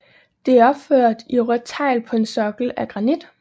Det er opført i rødt tegl på en sokkel af granit